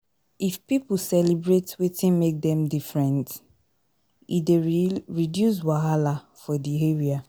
if pipo celebrate wetin make dem different e dey reduce wahala for di area